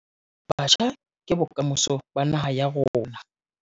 Batjha ke bokamoso ba naha ya rona